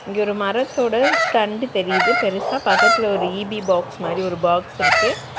இங்க ஒரு மரத்தோட தண்டு தெரியிது பெருசா பக்கத்ல ஒரு இ_பி பாக்ஸ் மாரி ஒரு பாக்ஸ் இருக்கு.